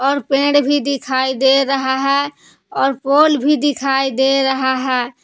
और पेड़ भी दिखाई दे रहा है और पोल भी दिखाई दे रहा है।